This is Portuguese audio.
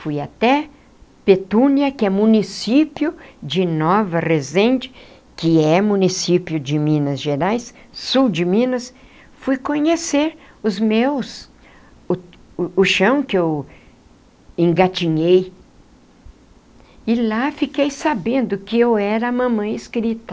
Fui até Petúnia, que é município de Nova Resende, que é município de Minas Gerais, sul de Minas, fui conhecer os meus, o o o chão que eu engatinhei, e lá fiquei sabendo que eu era a mamãe escrita.